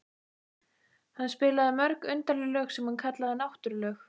Hann spilaði mörg undarleg lög sem hann kallaði náttúrulög.